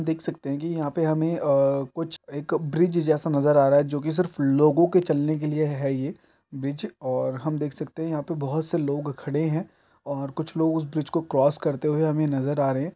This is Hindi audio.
देख सकते हैं कि यहाँ पर हमें अ कुछ एक ब्रिज जैसा नजर आ रहा है जो कि सिर्फ लोगों के चलने के लिए है ये ब्रिज और हम देख सकते हैं यहाँ पर बहुत से लोग खड़े हैं और कुछ लोग उस ब्रिज को क्रॉस करते हुए हमें नजर आ रहे हैं।